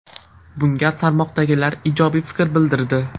Bunga tarmoqdagilar ijobiy fikr bildirdi.